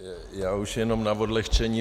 Já už jenom na odlehčení.